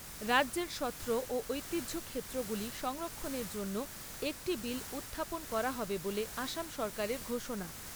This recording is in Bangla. রাজ্যের সত্র ও ঐতিহ্য ক্ষেত্রগুলি সংরক্ষণের জন্য একটি বিল উত্থাপন করা হবে বলে আসাম সরকারের ঘোষণা।